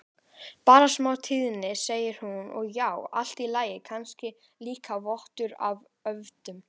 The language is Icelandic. Bara smá stríðni, segir hún, og já, allt í lagi, kannski líka vottur af öfund.